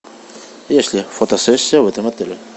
есть ли фотосессия в этом отеле